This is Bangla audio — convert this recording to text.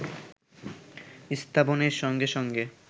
স্থাপনের সঙ্গে সঙ্গে